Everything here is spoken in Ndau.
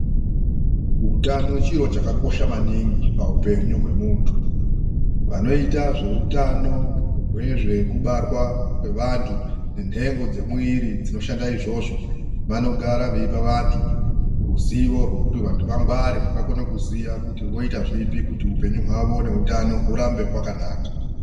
Utano chiro chakakosha maningi paupenyu hwemuntu. Vanoita zveutano hwezvekubarwa kwevantu nenhengo dzemwiri dzinoshanda izvozvo vanogara veipa vantu ruzivo rwekuti vantu vangware, vakone kuziya kuti voita zvipi kuti upenyu hwavo neutano hurambe hwakanaka.